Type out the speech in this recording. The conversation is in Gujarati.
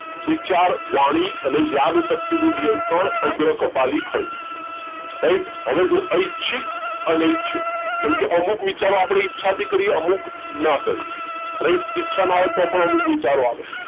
વિચાર વાણી અને યાદશક્તિ નું નિયંત્રણ અગ્ર કપાલી ખંડ right હવે જો ઐચ્છિક અનૈચ્છિક કેમ કે અમુક વિચારો આપણે ઈચ્છાથી કરીએ અમુક ન કરીએ right ઈચ્છા ના હોય તો પણ અમુક વિચારો આવે